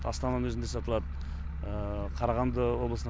астананың өзінде сатылады қарағанды облысына